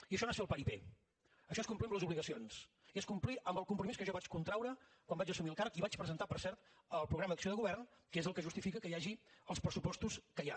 i això no és fer el paripé això és complir amb les obligacions i és complir amb el compromís que jo vaig contraure quan vaig assumir el càrrec i vaig presentar per cert el programa d’acció de govern que és el que justifica que hi hagi els pressupostos que hi ha